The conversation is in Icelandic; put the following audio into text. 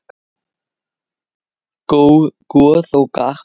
Goð og garpar